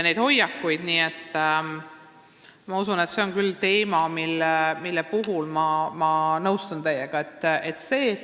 Nii et see on teema, mille puhul ma teiega nõustun.